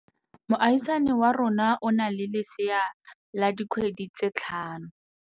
Moagisane wa rona o na le lesea la dikgwedi tse tlhano.